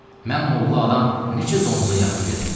Mən molla adam necə donuza yaxın gedim?